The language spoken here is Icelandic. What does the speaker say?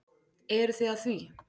Eruð þið að því?